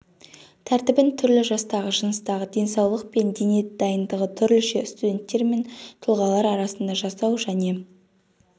тәртібін түрлі жастағы жыныстағы денсаулық пен дене дайындығы түрліше студенттер мен тұлғалар арасында жасау және